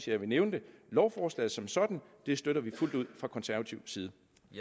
jeg ville nævne det lovforslaget som sådan støtter vi fuldt ud fra konservativ side